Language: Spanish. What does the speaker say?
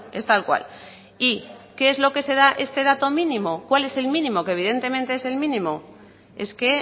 es tal cual y qué es lo que se da este dato mínimo cuál es el mínimo que evidentemente es el mínimo es que